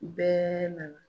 Bɛɛɛ nana.